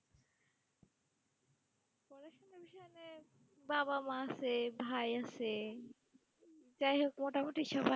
বাব-মা আসে, ভাই আসে, যাই হোক মোটামুটি সবাই